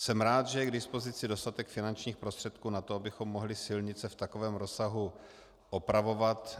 Jsem rád, že je k dispozici dostatek finančních prostředků na to, abychom mohli silnice v takovém rozsahu opravovat.